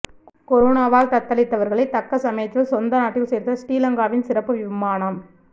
கொரோனாவால் தத்தளித்தவர்களை தக்க சமயத்தில் சொந்த நாட்டில் சேர்த்த ஸ்ரீலங்காவின் சிறப்பு விமானம்